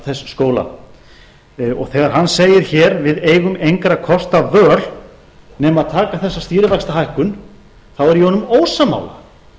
þessa skóla og þegar hann segir hér við eigum engra kosta völ nema að taka þessa stýrivaxtahækkun þá er ég honum ósammála